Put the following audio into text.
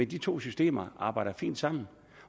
de to systemer arbejder fint sammen